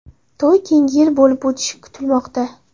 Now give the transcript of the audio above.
To‘y keyingi yil bo‘lib o‘tishi kutilmoqda.